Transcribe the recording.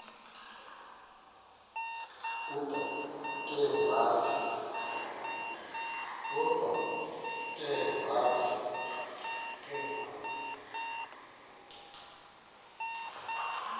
kodwa ke wathi